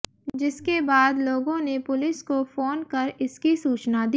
जिसके बाद लोगों ने पुलिस को फोन कर इसकी सूचना दी